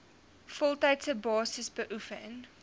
voltydse basis beoefen